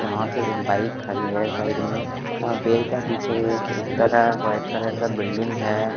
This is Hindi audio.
यहाँ पे एक बाइक खड़ी है साइड में यहाँ पेड़ के पीछे ऐ-एक बड़ा वाइट कलर का बिल्डिंग है।